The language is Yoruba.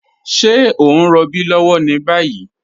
Ṣẹ̀ o n rọ̀bí lọ́wọ́ ni bayi?